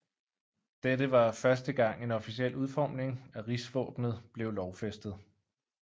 Dette var første gang en officiel udforming af rigsvåbenet blev lovfæstet